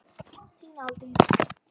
Þín Aldís.